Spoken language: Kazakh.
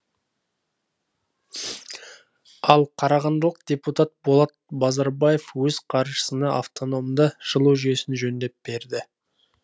ал қарағандылық депутат болат базарбаев өз қаржысына автономды жылу жүйесін жөндеп берді